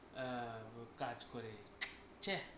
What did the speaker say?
আহ ও কাজ করে ছ্যা